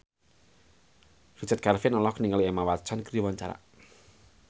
Richard Kevin olohok ningali Emma Watson keur diwawancara